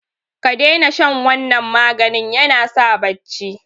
kadaina shan wannan maganin yanasa bacci